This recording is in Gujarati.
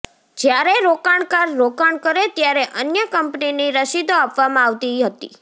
જયારે રોકાણકાર રોકાણ કરે ત્યારે અન્ય કંપનીની રસીદો આપવામાં આવતી હતી